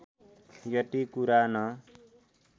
यति कुरा न